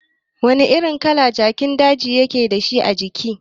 Wani kala jakin daji yake dashi ajiki?